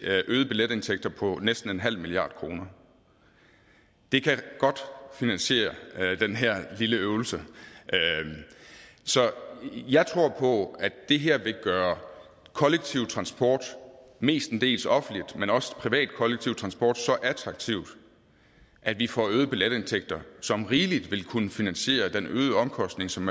øgede billetindtægter på næsten en halv milliard kroner det kan godt finansiere den her lille øvelse så jeg tror på at det her vil gøre kollektiv transport mestendels offentlig men også privat kollektiv transport så attraktiv at vi får øgede billetindtægter som rigeligt vil kunne finansiere den øgede omkostning som